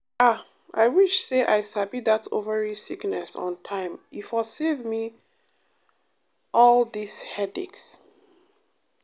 ah i wish say i sabi that ovary sickness on time e for save me att dis headache.